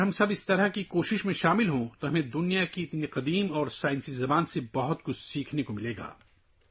اگر ہم سب اس کوشش میں شامل ہو جائیں تو ہمیں دنیا کی ایسی قدیم اور سائنسی زبان سے بہت کچھ سیکھنے کو ملے گا